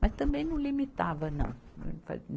Mas também não limitava, não.